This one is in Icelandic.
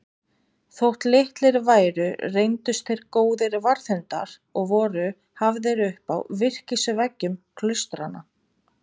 Þótt litlir væru reyndust þeir góðir varðhundar og voru hafðir upp á virkisveggjum klaustranna.